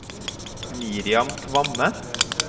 Miriam Kvamme